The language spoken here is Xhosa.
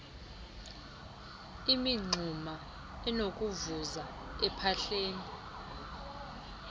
imingxuma enokuvuza ephahleni